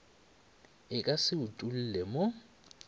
e ka se utolle mo